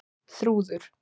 Þrúður